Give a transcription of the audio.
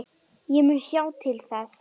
Ég mun sjá til þess.